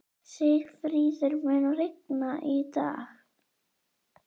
Sigfríður, mun rigna í dag?